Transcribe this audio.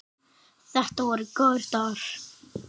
Þetta voru góðir dagar.